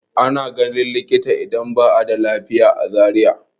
Ana ganin likita idan ba a da lafiya a Zariya.